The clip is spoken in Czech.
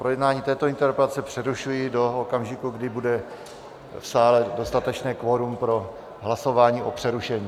Projednávání této interpelace přerušuji do okamžiku, kdy bude v sále dostatečné kvorum pro hlasování o přerušení.